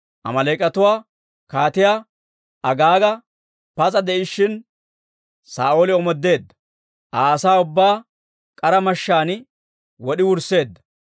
Amaaleek'atuwa Kaatiyaa Agaaga pas'a de'ishshin, Saa'ooli omoodeedda; Aa asaa ubbaa k'ara mashshaan wod'i wursseedda.